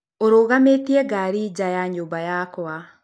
ũrũgamĩtie ngari nja ya nyũmba yakwa